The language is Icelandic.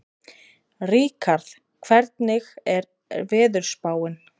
Ríkharð, hvernig er veðurspáin?